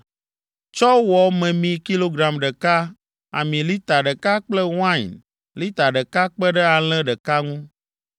Tsɔ wɔ memi kilogram ɖeka, ami lita ɖeka kple wain lita ɖeka kpe ɖe alẽ ɖeka ŋu.